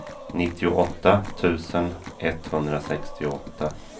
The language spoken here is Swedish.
nittioåtta tusen etthundrasextioåtta